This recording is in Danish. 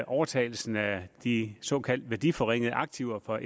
overtagelsen af de såkaldt værdiforringede aktiver fra